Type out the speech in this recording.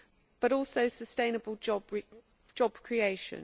but also sustainable job creation.